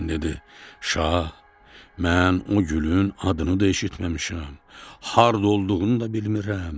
İbrahim dedi: Şah, mən o gülün adını da eşitməmişəm, harda olduğunu da bilmirəm.